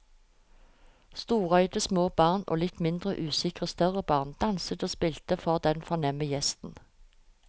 Storøyde små barn og litt mindre usikre større barn danset og spilte for den fornemme gjesten.